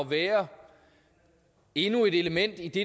være endnu et element i det